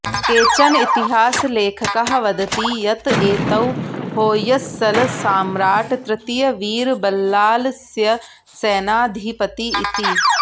केचन इतिहासलेखकाः वदति यत् एतौ होय्सळसाम्राट् तृतीयवीरबल्लालस्य सेनाधिपती इति